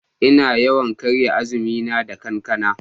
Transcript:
Ina yawan karya azumi na da kankana.